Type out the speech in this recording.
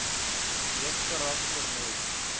hoofkarak ter nooit